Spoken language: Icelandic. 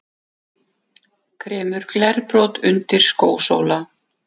Kremur glerbrot undir skósóla.